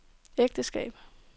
ægteskab